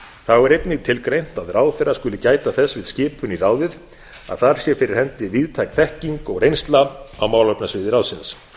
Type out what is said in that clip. þá er einnig tilgreint að ráðherra skuli gæta þess við skipun í ráðið að þar sé fyrir hendi víðtæk þekking og reynsla á málefnasviði ráðsins